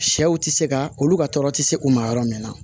Sɛw tɛ se ka olu ka tɔɔrɔ tɛ se u ma yɔrɔ min na